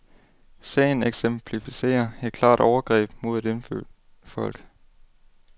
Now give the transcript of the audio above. Sagen eksemplificerer et klart overgreb mod et indfødt folk.